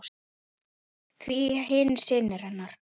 Því hinir synir hennar